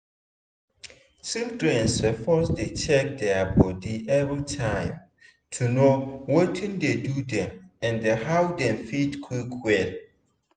children suppose dey check their body everytime to know watin dey do dem and how dem fit quick well.